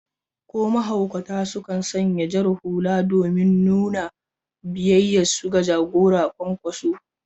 Ko mahaukata sukan sanya jar hula domin nuna biyayyarsu ga jagorar Kwankwaso.